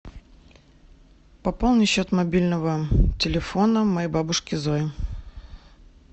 пополни счет мобильного телефона моей бабушки зои